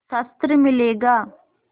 शस्त्र मिलेगा